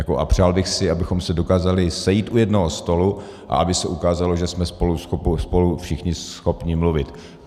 A přál bych si, abychom se dokázali sejít u jednoho stolu a aby se ukázalo, že jsme spolu všichni schopni mluvit.